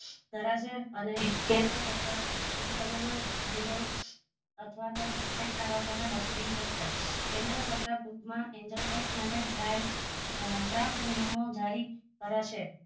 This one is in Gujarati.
કરશે અને કેન્દ્ર સરકાર ટૂંક સમય મજ angel અથવા તો વસુલી ધરશે કેન્દ્ર સરકાર ટૂંકમાં angel text dry draft નિયમો જરી કરશે